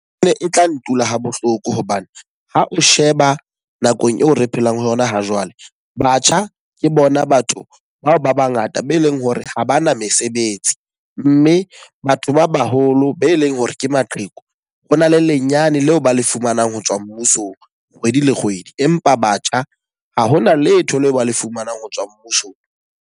E ne e tla ntula ha bohloko hobane ha o sheba nakong eo re phelang ho yona ha jwale. Batjha ke bona batho bao ba ba ngata be leng hore ha bana mesebetsi. Mme batho ba baholo be leng hore ke maqheku, ho na le lenyenyane leo ba le fumanang ho tswa mmusong kgwedi le kgwedi. Empa batjha ha hona letho leo ba le fumanang ho tswa mmusong.